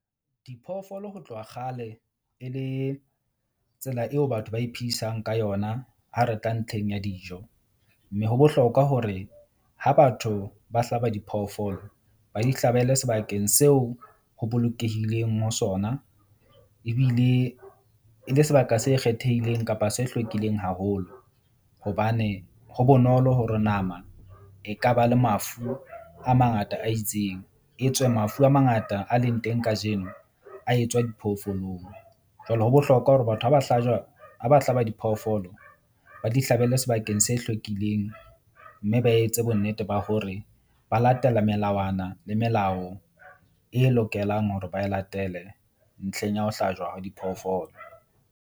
Diphoofolo ho tloha kgale e le tsela eo batho ba iphedisang ka yona ha re tla ntlheng ya dijo. Mme ho bohlokwa hore ha batho ba hlaba diphoofolo, ba di hlabele sebakeng seo ho bolokehileng ho sona. Ebile e le sebaka se kgethehileng kapa se hlwekileng haholo. Hobane ho bonolo hore nama e ka ba le mafu a mangata a itseng, etswe mafu a mangata a leng teng kajeno a etswa diphoofolong. Jwale ho bohlokwa hore batho ha ba hlajwa ha ba hlaba diphoofolo, ba di hlabele sebakeng se hlwekileng. Mme ba etse bonnete ba hore ba latela melawana le melao e lokelang hore ba e latele ntlheng ya ho hlajwa diphoofolo.